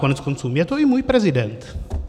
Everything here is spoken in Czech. Koneckonců je to i můj prezident.